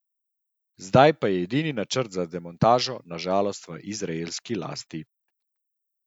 Zdaj pa je edini načrt za demontažo na žalost v izraelski lasti.